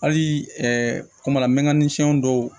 Hali kumana mnɛn fɛn dɔw